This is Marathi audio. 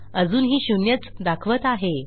अजूनही शून्यच दाखवत आहे